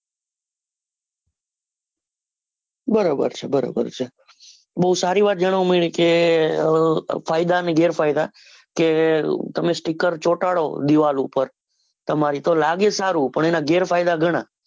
બરાબર છે બરાબર છે. બૌ સારી વાત જાણવા મળી કે ફાયદા ને ગેરફાયદા કે તમે sticker ચોટાડો દીવાલ પર તો લાગે સારું પણ એના ગેરફાયદા ગણા.